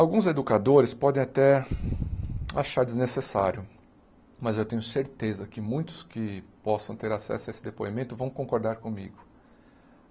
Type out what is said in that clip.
Alguns educadores podem até achar desnecessário, mas eu tenho certeza que muitos que possam ter acesso a esse depoimento vão concordar comigo.